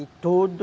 E tudo...